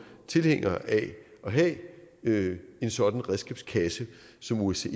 tilhængere af at have en sådan redskabskasse som osce